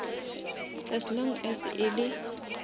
as long as e le